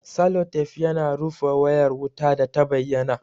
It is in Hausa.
Salotef yana rufe wayar wuta data bayyana